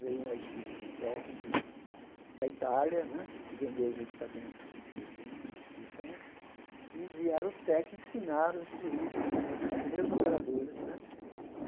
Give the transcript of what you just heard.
veio uma equipe de técnicos da Itália né, que vendeu os equipamentos de desenho, de restituição, e vieram os técnicos, ensinaram, instruíram os nossos primeiros operadores né.